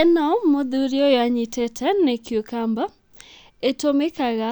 Ĩno mũthuri ũyũ anyitĩte nĩ cucumbera, ĩtũmĩkaga